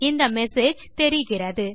இந்த மெசேஜ் தெரிகிறது